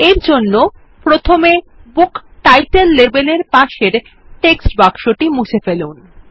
এরজন্য প্রথমে book title লেবেলের পাশের টেক্সট বাক্সটি মুছে ফেলুন